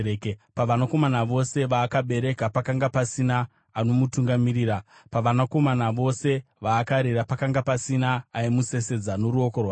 Pavanakomana vose vaakabereka pakanga pasina anomutungamirira; pavanakomana vose vaakarera pakanga pasina aimusesedza noruoko rwake.